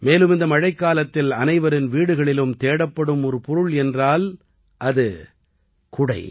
மேலும் இந்த மழைக்காலத்தில் அனைவரின் வீடுகளிலும் தேடப்படும் ஒரு பொருள் என்றால் அது குடை